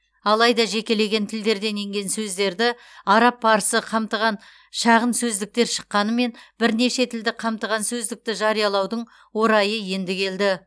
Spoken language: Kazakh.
алайда жекелеген тілдерден енген сөздерді араб парсы қамтыған шағын сөздіктер шыққанымен бірнеше тілді қамтыған сөздікті жариялаудың орайы енді келді